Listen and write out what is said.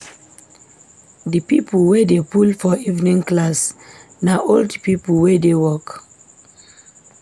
Di pipo wey dey full for evening class na old pipo wey dey work.